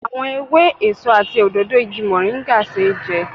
Àwọn ewé, èso àti òdòdó igi moringa ṣeé jẹ